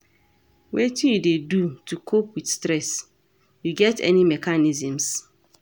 Wetin you dey do to cope with stress, you get any mechanisms?